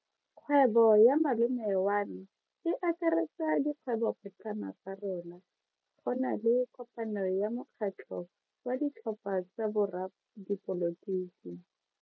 Kgwebo ya malome wa me e akaretsa dikgwebopotlana tsa rona. Go na le kopano ya mokgatlho wa ditlhopha tsa boradipolotiki.